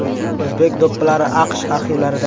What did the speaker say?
O‘zbek do‘ppilari AQSh arxivlarida .